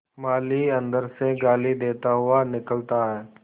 माली अंदर से गाली देता हुआ निकलता है